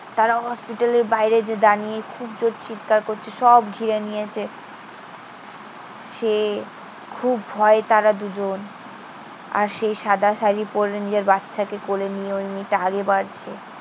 তারা হসপিটালের বাইরে এসে দাঁড়িয়ে খুব জোর চিৎকার করছে। সব ঘিরে নিয়েছে। সে খুব ভয়ে তারা দুজন। আর সেই সাদা শাড়ি পড়ে নিজের বাচ্চাকে কোলে নিয়ে ওই মেয়েটা আগে বাড়ছে।